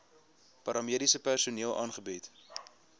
paramediese personeel aangebied